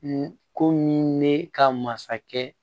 komi ne ka masakɛ